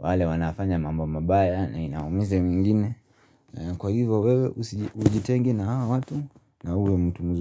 wale wanafanya mambo mabaya na inaumiza mengine Kwa hivyo wewe ujitenge na hawa watu na huwe mtu mzuri.